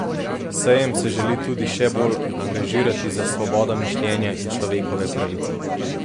Sejem se želi tudi še bolj angažirati za svobodo mišljenja in človekove pravice.